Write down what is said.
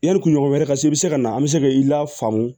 Yanni kunɲɔgɔn wɛrɛ ka se i bɛ se ka na an bɛ se k'i lafaamu